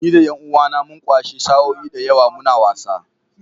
Ni da ’yan uwAna mun kwashe sa’o’i da yawa muna wasa